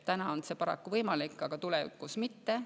Täna on see paraku võimalik, aga tulevikus mitte.